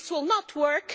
This will not work